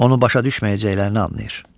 Onu başa düşməyəcəklərini anlayır.